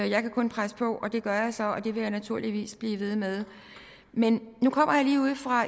jeg kan kun presse på og det gør jeg så og det vil jeg naturligvis blive ved med men